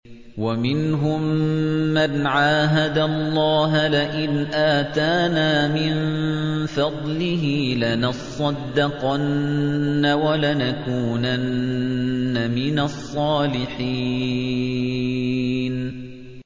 ۞ وَمِنْهُم مَّنْ عَاهَدَ اللَّهَ لَئِنْ آتَانَا مِن فَضْلِهِ لَنَصَّدَّقَنَّ وَلَنَكُونَنَّ مِنَ الصَّالِحِينَ